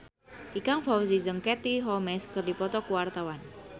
Ikang Fawzi jeung Katie Holmes keur dipoto ku wartawan